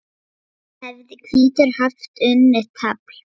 hefði hvítur haft unnið tafl.